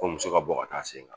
Ko muso ka bɔ ka t'a sen kan